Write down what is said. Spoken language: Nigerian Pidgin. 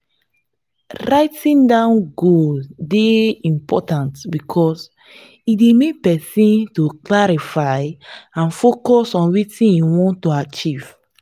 writing down goals dey important because e dey make pesin to clarify and focus on what im want to achieve.